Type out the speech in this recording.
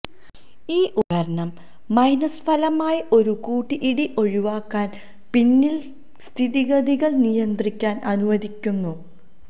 ഈ ഉപകരണം മൈനസ് ഫലമായി ഒരു കൂട്ടിയിടി ഒഴിവാക്കാൻ പിന്നിൽ സ്ഥിതിഗതികൾ നിയന്ത്രിക്കാൻ അനുവദിക്കുന്നു